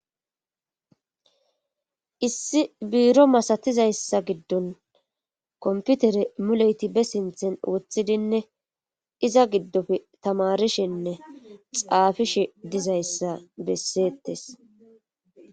Issi biiro masatizayssa gidon kompitire muleti be sinthen wothidinne iza gidoppe tamarishenne xaafishe dizayta beseetees.